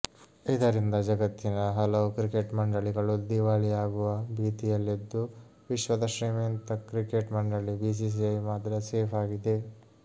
ಇದರಿಂದ ಜಗತ್ತಿನ ಹಲವು ಕ್ರಿಕೆಟ್ ಮಂಡಳಿಗಳು ದಿವಾಳಿಯಾಗುವ ಭೀತಿಯಲ್ಲಿದ್ದು ವಿಶ್ವದ ಶ್ರೀಮಂತ ಕ್ರಿಕೆಟ್ ಮಂಡಳಿ ಬಿಸಿಸಿಐ ಮಾತ್ರ ಸೇಫ್ ಆಗಿದೆ